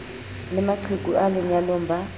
le maqheku a lenyalong ba